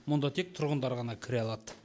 мұнда тек тұрғындар ғана кіре алады